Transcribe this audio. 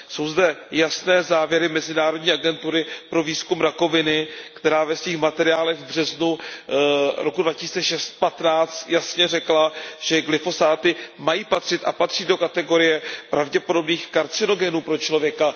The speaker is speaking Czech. Jsou zde jasné závěry Mezinárodní agentury pro výzkum rakoviny, která ve svých materiálech z března roku 2015 jasně řekla, že glyfosáty mají patřit a patří do kategorie pravděpodobných karcinogenů pro člověka.